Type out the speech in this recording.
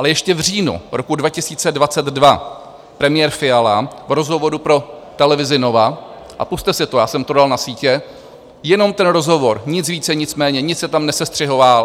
Ale ještě v říjnu roku 2022 premiér Fiala v rozhovoru pro televizi Nova - a pusťte si to, já jsem to dal na sítě, jenom ten rozhovor, nic více, nic méně, nic se tam